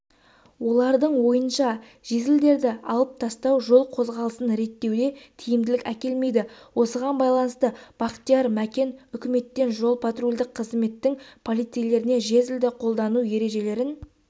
олардың ойынша жезлдерді алып тастау жол қозғалысын реттеуде тиімділік әкелмейді осыған байланысты бақтияр мәкен үкіметтен жол-патрульдік қызметтің полицейлеріне жезлді қолдану ережелерін